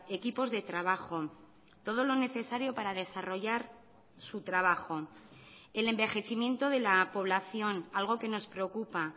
equipos de trabajo todo lo necesario para desarrollar su trabajo el envejecimiento de la población algo que nos preocupa